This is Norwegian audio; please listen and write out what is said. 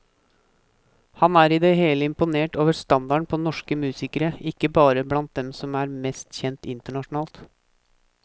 Han er i det hele imponert over standarden på norsk musikere, ikke bare blant dem som er mest kjent internasjonalt.